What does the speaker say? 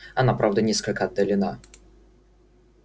она правда несколько отдалена